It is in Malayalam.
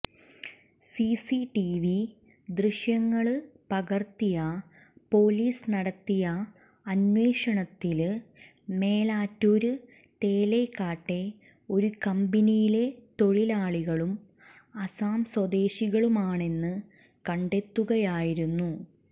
സിസിടിവി ദൃശ്യങ്ങള് പകര്ത്തി പോലീസ് നടത്തിയ അന്വേഷണത്തില് മേലാറ്റൂര് തേലക്കാട്ടെ ഒരു കമ്പനിയിലെ തൊഴിലാളികളും അസം സ്വദേശികളുമാണെന്ന് കണ്ടെത്തുകയായിരുന്നു